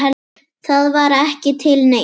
Það var ekki til neins.